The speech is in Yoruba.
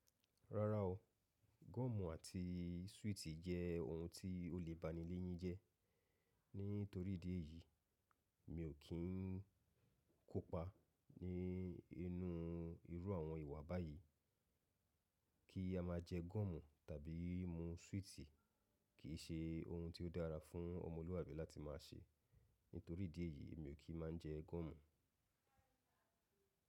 Rárá o, gọ́ọ̀mù àti súwìtì jẹ́ ohun tí o lè bani léyín jẹ. Nítorí idí ẹ̀yìí, mi ò kí n kópa ní inú irú àwọn ìwà báyìí. Kí a máa jẹ gọ́ọ̀mù tàbí mú súwìtì kìí ṣe ohun tí ó dára fún ọmọlúàbí láti máa ṣe. Nítorí idí ẹ̀yí mi ò kí máa n jẹ gọ́ọ̀mù.